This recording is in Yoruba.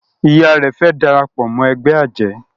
Ìyá rẹ fe darapọ̀ mọ ègbé ajé